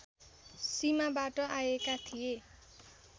सीमाबाट आएका थिए